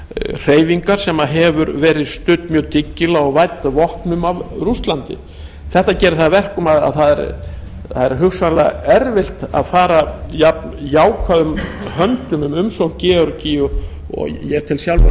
hreyfingar sem hefur verið studd mjög dyggilega og vædd vopnum af rússlandi þetta gerir það að verkum að það er hugsanlega erfitt að fara jafn jákvæðum höndum um umsókn georgíu og ég tel